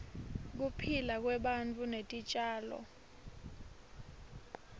kuphila kwebantu netitjalo